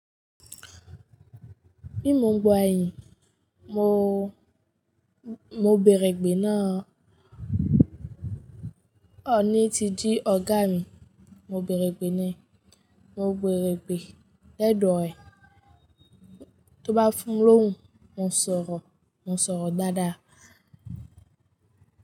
Imu gbọ́ àyìí, mo, mo bèèrè gbé náà o ní ti jí ọ̀gá mi, mo bèèrè gbé náà, mo bèèrè gbé lẹ́dò ẹ. Tí ó bá fún lóhùn, mo ń sọ̀rọ̀, mo ń sọ̀rọ̀ dáadáa.